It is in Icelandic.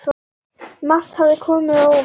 Margt hafði komið á óvart.